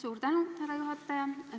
Suur tänu, härra juhataja!